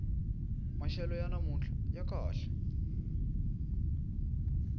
maxelo ya namuntlha ya kahle